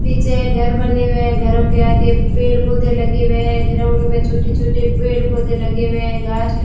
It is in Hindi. पीछे घर बने हुए हैं घरों के आगे पेड़ पौधे लगे हुए है ग्राउंड में छोटे छोटे पेड़ पौधे लगे हुए हैं घास ल --